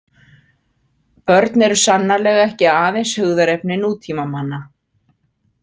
Börn eru sannarlega ekki aðeins hugðarefni nútímamanna.